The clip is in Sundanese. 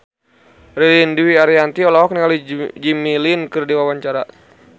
Ririn Dwi Ariyanti olohok ningali Jimmy Lin keur diwawancara